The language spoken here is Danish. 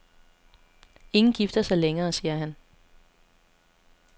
Ingen gifter sig længere, siger han.